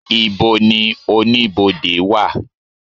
ibò ní Oníbodè wa?